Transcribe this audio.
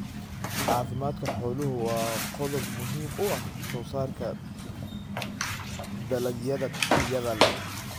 Caafimaadka xooluhu waa qodob muhiim u ah soosaarka dalagyada tayada leh.